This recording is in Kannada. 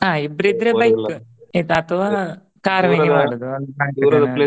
ಆ ಇಬ್ರಿದ್ರೆ bike ಆಯಿತ ಅತವಾ .